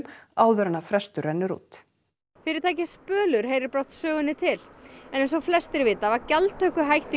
áður en frestur rennur út fyrirtækið Spölur heyrir brátt sögunni til eins og flestir vita var gjaldtöku hætt í